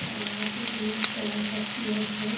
और यहाँ पे ब्लैक कलर का चेयर्स है।